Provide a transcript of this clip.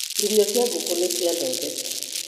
Irio cia ngũkũ nĩciathondekwo.